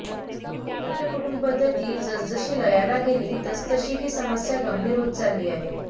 एकत्र कुटुंब पद्धती जसजशी लयाला गेली तसतशी ही समस्या गंभीर होत चालली आहे